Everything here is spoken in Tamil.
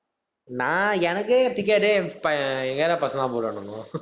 நா, எனக்கே ticket ஏ ப~ எங்க area பசங்கதான் போடுவானுங்கோ